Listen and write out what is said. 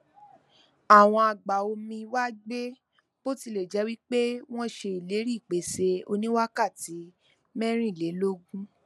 awọn agbaomi wa gbẹ bo tilẹ jẹ wi pe wọn ṣe ileri ipese oniwakati mẹrinlelogun